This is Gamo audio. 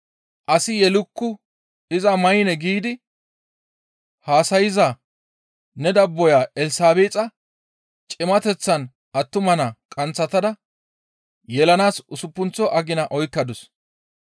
Asi yelukku; iza maynne giidi haasayza ne dabboya Elsabeexa cimateththan attuma naa qanththatada yelanaas usuppunththo agina oykkadus.